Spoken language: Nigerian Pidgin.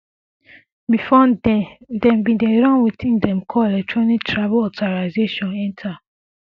bifor den dem um bin dey run wetin dem call electronic travel authorisation eta um